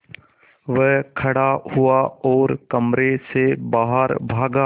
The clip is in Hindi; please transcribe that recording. वह खड़ा हुआ और कमरे से बाहर भागा